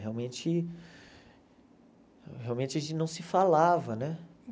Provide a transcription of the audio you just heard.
Realmente, realmente a gente não se falava, né?